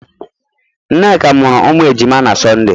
Nneka muru umu ejima na Sọnde